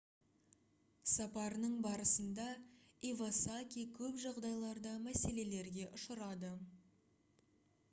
сапарының барысында ивасаки көп жағдайларда мәселелерге ұшырады